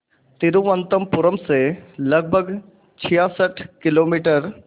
तिरुवनंतपुरम से लगभग छियासठ किलोमीटर